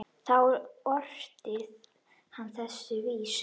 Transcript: Þá orti hann þessa vísu